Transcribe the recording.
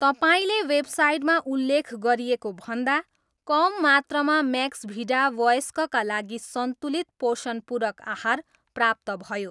तपाईँको वेबसाइटमा उल्लेख गरिएको भन्दा कम मात्रामा म्याक्सभिडा वयस्कका लागि सन्तुलित पोषण पूरक आहार प्राप्त भयो